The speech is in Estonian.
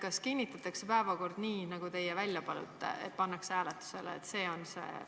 Kas päevakord kinnitatakse nii, nagu teie välja pakkusite, ja pannakse sellisena hääletusele?